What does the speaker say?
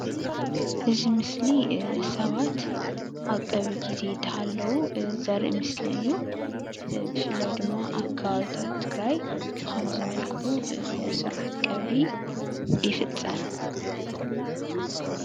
እዚ ምስሊ ሰባት አብቀብሪ ግዜ እናሃለዉ ዘርኢ ምስሊ እዪ ብፍላይ ድማ አብ ከባቢታት ትግራይ ብ ኸምዚ መልክዑ ስርዓት ቀብሪ ይፍፀም ።